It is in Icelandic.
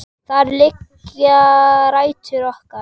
Þar liggja rætur okkar.